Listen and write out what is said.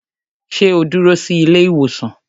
Sẹ́ ó dúró sí ilé ìwòsàn?